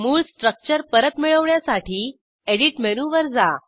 मूळ स्ट्रक्चर परत मिळवण्यासाठी एडिट मेनूवर जा